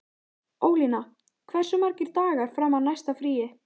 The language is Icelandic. Ólína, hversu margir dagar fram að næsta fríi?